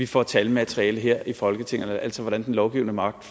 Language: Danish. får talmaterialet her i folketinget altså hvordan den lovgivende magt